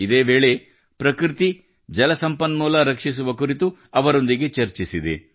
ಇದೇ ವೇಳೆ ಪ್ರಕೃತಿ ಜಲ ಸಂಪನ್ಮೂಲ ರಕ್ಷಿಸುವ ಕುರಿತು ಅವರೊಂದಿಗೆ ಚರ್ಚಿಸಿದೆ